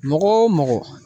Mɔgɔ o mɔgɔ